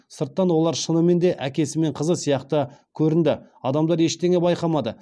сырттан олар шынымен де әкесі мен қызы сияқты көрінді адамдар ештеңе байқамады